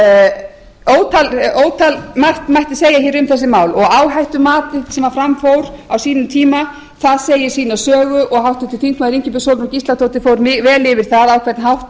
er það svo að ótalmargt mætti segja um þessi mál og áhættumatið sem fram fór á sínum tíma segir sína sögu og háttvirtur þingmaður ingibjörg sólrún gísladóttir fór vel yfir það á hvern hátt